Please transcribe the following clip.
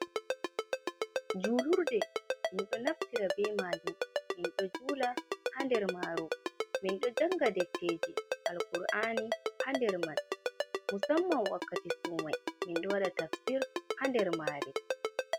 Julurde. mindo naftira be maajum mindo julaa ha nder mare mindo janga deftejii, alkur'ani ha nderman musamman wakkati somai mindo waɗa tafsir ha nder maree.